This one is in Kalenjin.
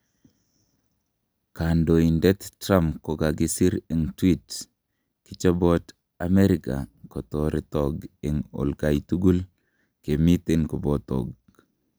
kandoindet Trump kokagisir en Tweet: kichopot Ameriga ketoretog on olkai tugul , kimiten kobotog�